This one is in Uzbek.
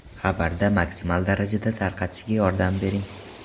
Xabarda maksimal darajada tarqatishga yordam bering!